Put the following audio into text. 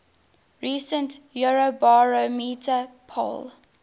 recent eurobarometer poll